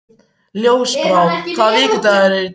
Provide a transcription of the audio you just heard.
Ljósbrá, hvaða vikudagur er í dag?